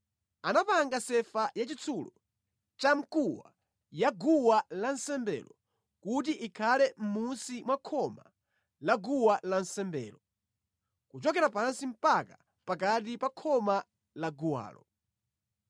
Anapanga sefa yachitsulo chamkuwa ya guwa lansembelo kuti ikhale mmunsi mwa khoma la guwa lansembelo, kuchokera pansi mpaka pakati pa khoma la guwalo.